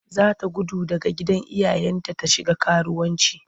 Za ta gudu daga gidan iyayenta ta shiga karuwanci.